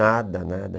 Nada, nada,